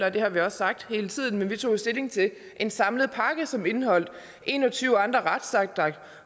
og det har vi også sagt hele tiden men vi tog jo stilling til en samlet pakke som indeholdt en og tyve andre retsakter